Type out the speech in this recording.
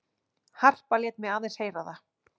Harpa lét mig aðeins heyra það.